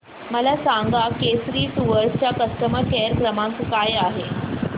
मला सांगा केसरी टूअर्स चा कस्टमर केअर क्रमांक काय आहे